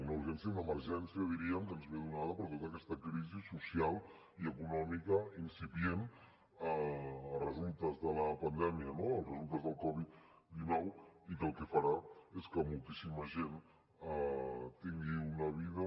una urgència una emergència diríem que ens ve donada per tota aquesta crisi social i econòmica incipient a resultes de la pandèmia no a resultes de la covid dinou i que el que farà és que moltíssima gent tingui una vida